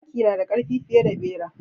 Zaki nada karfi fiye da bera.